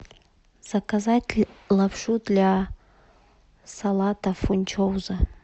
заказать лапшу для салата фунчоза